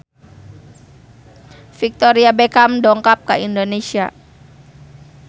Victoria Beckham dongkap ka Indonesia